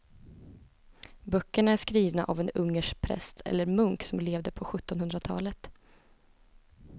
Böckerna är skrivna av en ungersk präst eller munk som levde på sjuttonhundratalet.